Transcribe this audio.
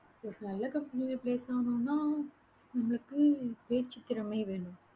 ஒரு நல்ல company ல place ஆகணும்ன்னா நமக்கு பேச்சுத்திறமை வேணும்.